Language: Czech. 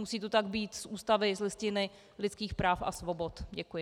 Musí to tak být z Ústavy, z Listiny lidských práv a svobod. Děkuji.